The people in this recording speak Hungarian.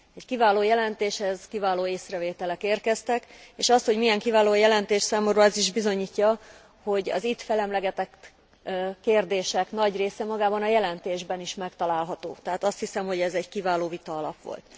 Egy kiváló jelentéshez kiváló észrevételek érkeztek, és azt, hogy milyen kiváló a jelentés, számomra az is bizonyítja, hogy az itt felemlegetett kérdések nagy része magában a jelentésben is megtalálható, tehát azt hiszem, hogy ez egy kiváló vitaalap volt.